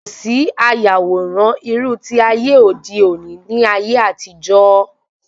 Kòsí ayàwòrán irú ti ayé òde òni ní ayé àtijó